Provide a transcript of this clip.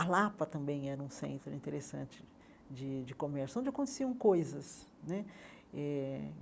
A Lapa também era um centro interessante de de comércio, onde aconteciam coisas né eh.